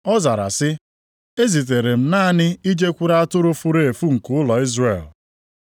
Ọ zara sị, “Ezitere m naanị ijekwuru atụrụ furu efu nke ụlọ Izrel.”